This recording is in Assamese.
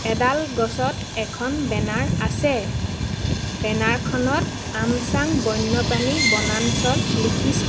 এডাল গছত এখন বেনাৰ আছে বেনাৰখনত আমচাং বন্যপ্ৰাণী বনাঞ্চল লিখিছে।